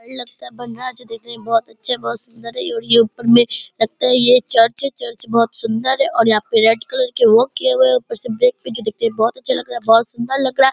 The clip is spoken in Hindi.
जो देखने में बहुत अच्छे बहुत सुंदर है और ये ऊपर मे लगता है यह चर्च है चर्च जो की बहुत सुंदर है। यहां पर रेड कलर के वर्क किए हुआ है ऊपर से ब्रेक पे जो दिख रहा है बहुत अच्छे लग रहा है बहुत सुंदर लग रहा है |